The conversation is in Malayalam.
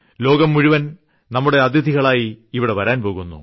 ലോകം മുഴുവൻ നമ്മുടെ അതിഥികളായി ഇവിടെ വരാൻ പോകുന്നു